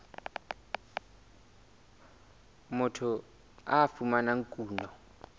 moo motho a fumanang kuno